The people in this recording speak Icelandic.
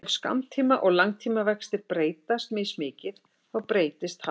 Ef skammtíma- og langtímavextir breytast mismikið þá breytist halli ferilsins.